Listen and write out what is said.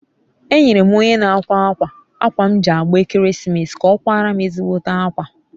enyere m onye n'akwa akwa akwa m ji agba ekeresimeesi ka o kwara m ezigbote akwa